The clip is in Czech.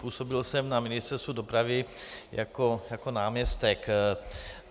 Působil jsem na Ministerstvu dopravy jako náměstek.